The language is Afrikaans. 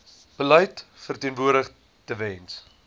beleid verteenwoordig tewens